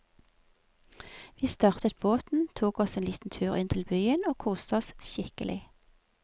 Vi startet båten, tok oss en liten tur inn til byen og koste oss skikkelig.